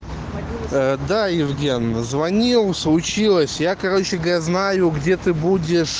ээ да евген звонил случилось я короче г знаю где ты будешь